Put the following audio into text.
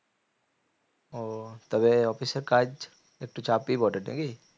ও তবে office এ কাজ একটু চাপই বটে নাকি?